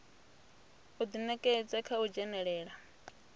u ḓinekedza kha u dzhenelela